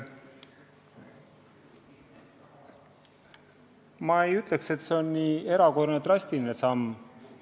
Ma ei ütleks, et see on nii erakorraline ja drastiline samm.